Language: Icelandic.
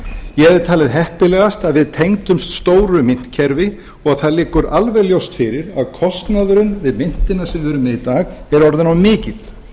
ég hefði talið heppilegast að við tengdumst stóru myntkerfi og það liggur alveg ljóst fyrir að kostnaðurinn við myntina sem við erum með í dag er orðinn of mikill